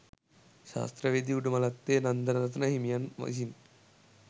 ශාස්ත්‍රවේදී උඩලමත්තේ නන්දරතන හිමියන් විසින්